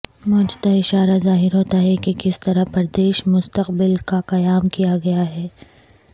موجودہ اشارہ ظاہر ہوتا ہے کہ کس طرح پردیش مستقبل کا قیام کیا گیا ہے